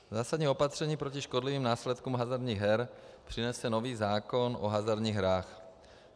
Zásadní opatření proti škodlivým následkům hazardních her přinese nový zákon o hazardních hrách.